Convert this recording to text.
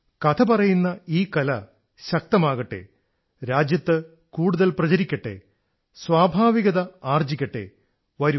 കഥ പറയുന്ന ഈ കല ശക്തമാകട്ടെ രാജ്യത്ത് കൂടുതൽ പ്രചരിക്കട്ടെ സ്വാഭാവികത ആർജ്ജിക്കട്ടെ വരൂ